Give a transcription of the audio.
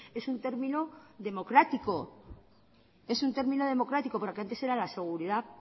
es un término democrático es un término democrático pero que antes era la seguridad